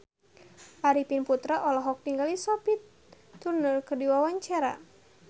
Arifin Putra olohok ningali Sophie Turner keur diwawancara